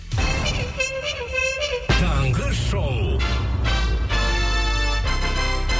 таңғы шоу